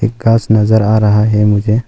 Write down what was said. घास नजर आ रहा है मुझे।